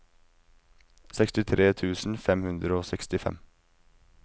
sekstitre tusen fem hundre og sekstifem